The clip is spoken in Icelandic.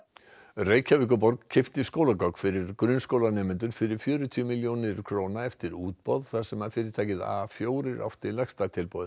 Reykjavíkurborg keypti skólagögn fyrir grunnskólanemendur fyrir fjörutíu milljónir króna eftir útboð þar sem fyrirtækið a fjórar átti lægsta tilboð